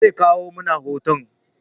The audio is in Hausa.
Ze kawo mana hoton